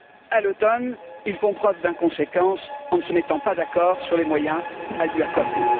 À l'automne, ils font preuve d'inconséquence en ne se mettant pas d'accord sur les moyens à lui accorder.